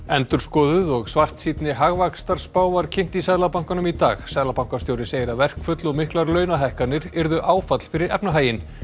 endurskoðuð og svartsýnni hagvaxtarspá var kynnt í Seðlabankanum í dag seðlabankastjóri segir að verkföll og miklar launahækkanir yrðu áfall fyrir efnahaginn